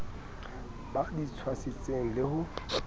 ba di tswasitseng le ho